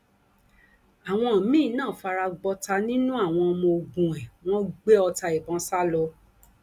àwọn míín náà fara gbọta nínú àwọn ọmọ ogun ẹ wọn gbé ọta ìbọn sá lọ